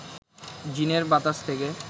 জ্বিনের বাতাস থেকে